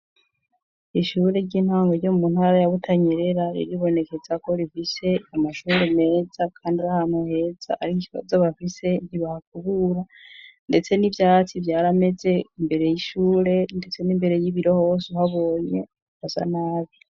Ishure ry'intango ryo mu ntara ya Butanyerera, riribonekeza ko rifise amashuri meza, kandi ari ahantu heza, ariko ikibazo bafise ntibahakubura, ndetse n'ivyatsi vyarameze imbere y'ishure, ndetse n'imbere y'ibiro hose uhabonye, hasa nabi.